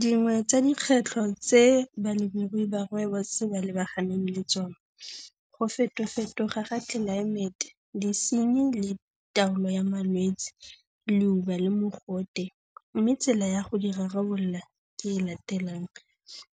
Dingwe tsa dikgwetlho tse balemirui ba rooibos ba lebaganeng le tsone, go fetofetoga ga tlelaemete, disenyi le taolo ya malwetsi, leuba le mogote mme tsela ya go di rarabolola ke e e latelang,